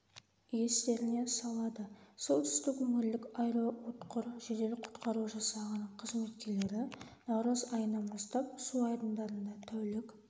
естеріне салады солтүстік өңірлік аэроұтқыр жедел құтқару жасағының қызметкерлері наурыз айынан бастап су айдындарында тәулік